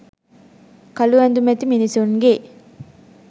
කළු ඇදුමැති මිනිසුන් ගේ